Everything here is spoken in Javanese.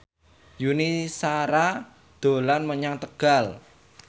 Yuni Shara dolan menyang Tegal